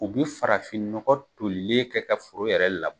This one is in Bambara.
U bi farafinnɔgɔ tolilen kɛ ka foro yɛrɛ la